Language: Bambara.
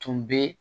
Tun bɛ